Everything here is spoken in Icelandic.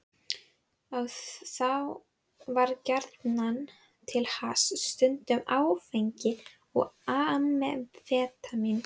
Þá var gjarnan til hass, stundum áfengi og amfetamín.